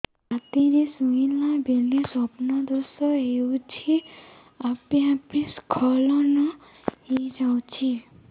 ରାତିରେ ଶୋଇଲା ବେଳେ ସ୍ବପ୍ନ ଦୋଷ ହେଉଛି ଆପେ ଆପେ ସ୍ଖଳନ ହେଇଯାଉଛି